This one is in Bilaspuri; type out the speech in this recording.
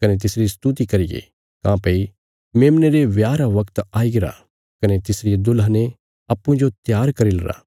कने तिसरी स्तुति करिये काँह्भई मेमने रे ब्याह रा वगत आई गरा कने तिसरिये दुल्हने अप्पूँजो त्यार करी लरा